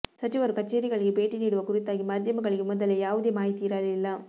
ಸಚಿವರು ಕಚೇರಿಗಳಿಗೆ ಭೇಟಿ ನೀಡುವ ಕುರಿತಾಗಿ ಮಾಧ್ಯಮಗಳಿಗೆ ಮೊದಲೆ ಯಾವುದೇ ಮಾಹಿತಿ ಇರಲಿಲ್ಲ